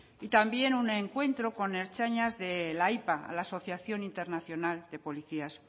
y también un encuentro con ertzainas de la ipa la asociación internacional de policías